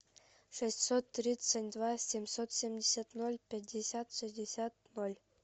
шестьсот тридцать два семьсот семьдесят ноль пятьдесят шестьдесят ноль